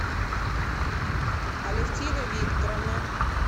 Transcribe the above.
алевтина викторовна